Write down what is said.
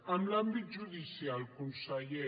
en l’àmbit judicial conseller